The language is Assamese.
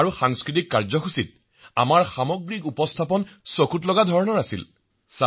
আৰু সাংস্কৃতিক অনুষ্ঠানত আমি বিভিন্ন অনুষ্ঠান প্ৰদৰ্শন কৰিলো